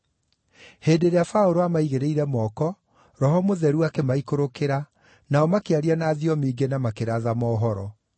Hĩndĩ ĩrĩa Paũlũ aamaigĩrĩire moko, Roho Mũtheru akĩmaikũrũkĩra, nao makĩaria na thiomi ingĩ na makĩratha mohoro.